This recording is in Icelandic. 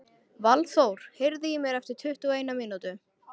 Valþór, heyrðu í mér eftir tuttugu og eina mínútur.